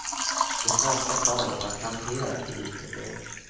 Det svenska paret har kamperat ihop i ett år.